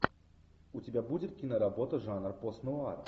у тебя будет киноработа жанр пост нуар